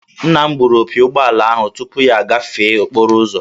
Nna m gbụrụ opi ụgbọala ahụ tupu ya agafee okporo ụzọ